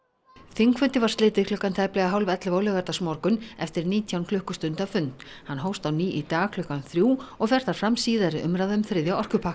þingfundi var slitið klukkan tæplega hálf ellefu á laugardagsmorgun eftir nítján klukkustunda fund hann hófst á ný í dag klukkan þrjú og fer þar fram síðari umræða um þriðja orkupakkann